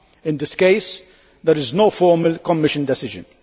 In this case, there is no formal Commission decision.